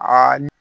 Aa ni